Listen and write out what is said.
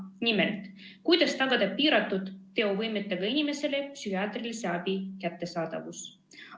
Nimelt, kuidas tagada piiratud teovõimega inimesele psühhiaatrilise abi kättesaadavus.